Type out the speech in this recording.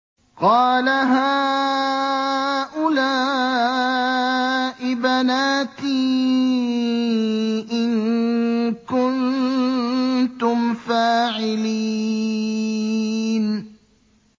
قَالَ هَٰؤُلَاءِ بَنَاتِي إِن كُنتُمْ فَاعِلِينَ